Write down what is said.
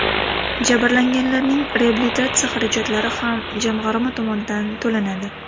Jabrlanganlarning reabilitatsiya xarajatlari ham jamg‘arma tomonidan to‘lanadi.